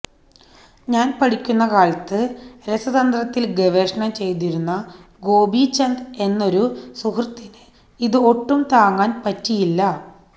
ഞാന് പഠിക്കുന്ന കാലത്ത് രസതന്ത്രത്തില് ഗവേഷണം ചെയ്തിരുന്ന ഗോപീചന്ദ് എന്നൊരു സുഹൃത്തിന് ഇത് ഒട്ടും താങ്ങാന് പറ്റിയില്ല